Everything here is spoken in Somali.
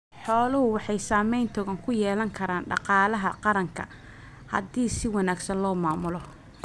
Xooluhu waxay saamayn togan ku yeelan karaan dhaqaalaha qaranka haddii si wanaagsan loo maamulo.